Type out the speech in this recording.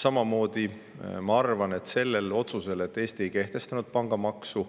Samamoodi ma arvan, et selle otsuse tõttu, et Eesti ei kehtestanud pangamaksu